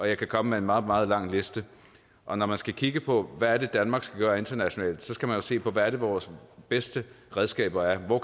jeg kan komme med en meget meget lang liste og når man skal kigge på hvad danmark skal gøre internationalt skal man jo se på hvad vores bedste redskaber er hvor